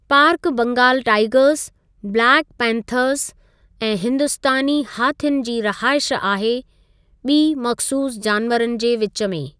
Park बंगालु tigers, black panthers ऐं हिंदुस्तानी हाथियुनि जी रहाइश आहे, ॿीं मख़सूसु जानवरनि जे विच में।